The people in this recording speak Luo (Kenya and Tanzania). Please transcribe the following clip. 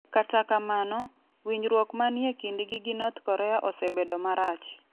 Kata kamano, winjruok manie kindgi gi North Korea osebedo marach.